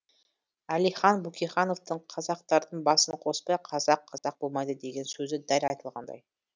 әлихан бөкейхановтың қазақтардың басын қоспай қазақ қазақ болмайды деген сөзі дәл айтылғандай